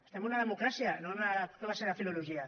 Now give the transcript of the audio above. estem en una democràcia no en una classe de filologia